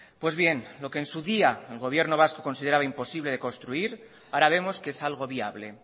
pues bien lo que en su día el gobierno vasco consideraba imposible de construir ahora vemos que es algo viable